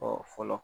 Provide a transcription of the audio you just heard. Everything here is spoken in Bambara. fɔlɔ